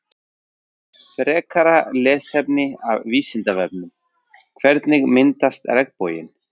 frekara lesefni af vísindavefnum hvernig myndast regnboginn